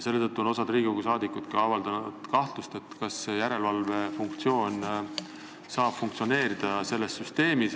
Osa Riigikogu liikmeid on ka avaldanud kahtlust, kas järelevalvefunktsioon saab selles süsteemis funktsioneerida.